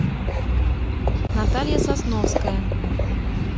наталья сосновская